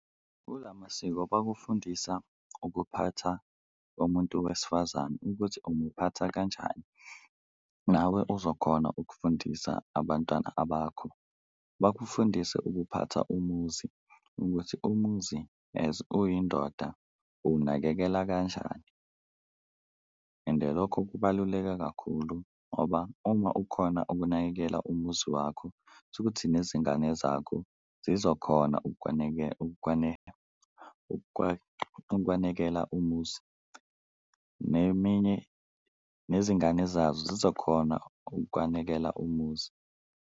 Kulawo masiko bakufundisa ukuphatha umuntu wesifazane ukuthi umuphatha kanjani nawe uzokhona ukufundisa abantwana abakho, bakufundise ukuphatha umuzi ukuthi umuzi as uyindoda uwunakekela kanjani ende lokho kubaluleke kakhulu. Ngoba uma ukhona ukunakekela umuzi wakho kusho ukuthi nezingane zakho zizokhona ukwanekela umuzi, neminye nezingane zazo zizokhona ukwanekela umuzi.